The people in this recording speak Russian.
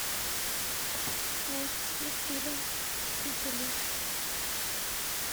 найти фильм мстители